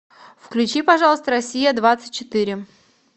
включи пожалуйста россия двадцать четыре